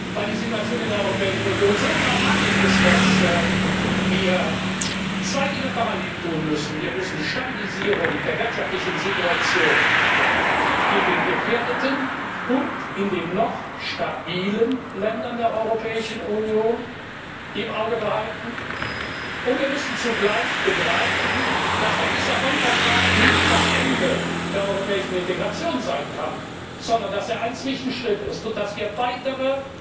Weil die Situation in der Europäischen Union so dramatisch ist, dass wir zwei Dinge parallel tun müssen Wir müssen die Stabilisierung der wirtschaftlichen Situation in den gefährdeten und in den noch stabilen Ländern der Europäischen Union im Auge behalten, und wir müssen zugleich begreifen, dass der Lissabon Vertrag nicht das Ende der europäischen Integration sein kann, sondern dass er ein Zwischenschritt ist, und dass wir weitere